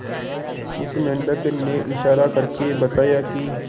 उस मेंढक ने इशारा करके बताया की